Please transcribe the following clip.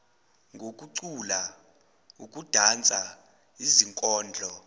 ngokucula ukudansa izikondlo